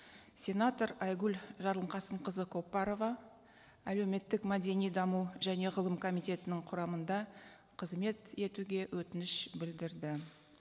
сенатор айгүл жарылқасынқызы көпбарова әлеуметтік мәдени даму және ғылым комитетінің құрамында қызмет етуге өтініш білдірді